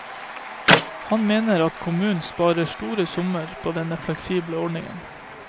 Han mener at kommunen sparer store summer på denne fleksible ordningen.